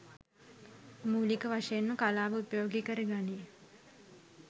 මූලික වශයෙන්ම කලාව උපයෝගි කර ගනියි